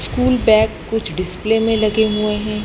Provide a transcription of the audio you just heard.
School bag कुछ display में लगे हुए हैं।